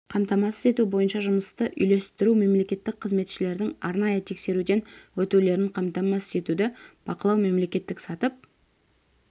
қамтамасыз ету бойынша жұмысты үйлестіру мемлекеттік қызметшілердің арнайы тексеруден өтулерін қамтамасыз етуді бақылау мемлекеттік сатып